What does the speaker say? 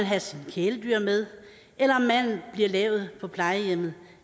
have sine kæledyr med eller om maden bliver lavet på plejehjemmet